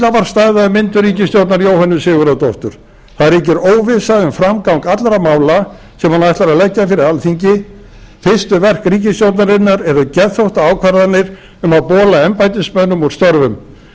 að myndun ríkisstjórnar jóhönnu sigurðardóttur það ríkir óvissa um framgang allra mála sem hún ætlar að leggja fyrir alþingi fyrstu verk ríkisstjórnarinnar eru geðþóttaákvarðanir um að bola embættismönnum úr störfum